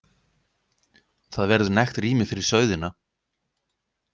Það verður nægt rými fyrir sauðina.